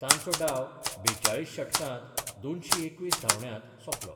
तांचो डाव बेचाळीस षटकात दोनशी एकवीस धावण्यात सोपलो.